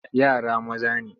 Yara maza ne.